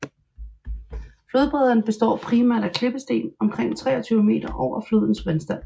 Flodbrederne består primært af klippesten omkring 23 meter over flodens vandstand